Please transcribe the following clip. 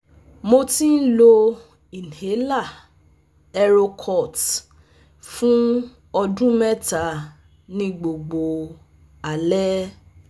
Mo ti n lo inhaler Erocort fun ọdun mẹta ni gbogbo alẹ